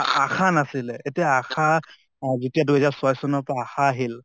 ASHA নাছিলে এতিয়া ASHA অহ দুই হাজাৰ ছয় চনৰ পৰা ASHA আহিল